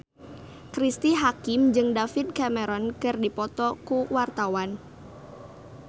Cristine Hakim jeung David Cameron keur dipoto ku wartawan